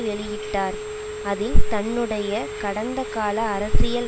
வெளியிட்டார் அதில் தன்னுடைய கடந்த கால அரசியல்